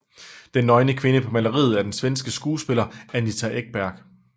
Den nøgne kvinde på maleriet er den svenske skuespiller Anita Ekberg